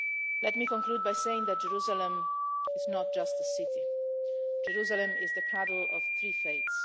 Let me conclude by saying that Jerusalem is not just a city. Jerusalem is the cradle of three faiths.